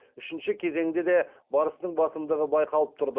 үшінші кезеңде де барыстың басымдығы байқалып тұрды